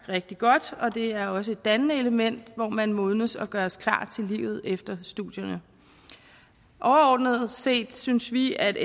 rigtig godt og det er også et dannende element hvor man modnes og gøres klar til livet efter studierne overordnet set synes vi at